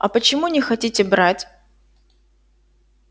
а почему не хотите брать